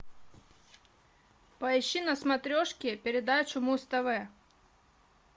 поищи на смотрешке передачу муз тв